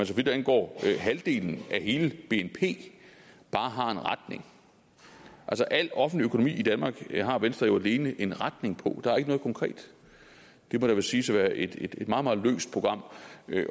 så vidt angår halvdelen af hele bnp bare har en retning altså al offentlig økonomi i danmark har venstre jo alene en retning på der er ikke noget konkret det må da siges at være et meget meget løst program